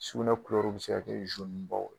Sugunɛ kulɛriw bɛ se ka kɛ ye